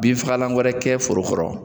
Bin fagalan wɛrɛ kɛ foro kɔrɔ.